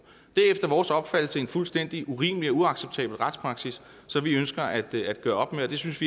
er efter vores opfattelse en fuldstændig urimelig og uacceptabel retspraksis som vi ønsker at gøre op med og vi synes